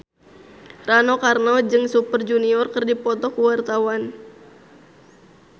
Rano Karno jeung Super Junior keur dipoto ku wartawan